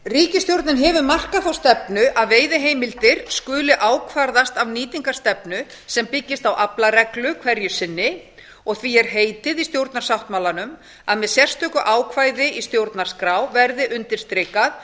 ríkisstjórnin hefur markað þá stefnu að veiðiheimildir skuli ákvarðast af nýtingarstefnu sem byggist á aflareglu hverju sinni því er heitið í stjórnarsáttmálanum að með sérstöku ákvæði í stjórnarskrá verði undirstrikað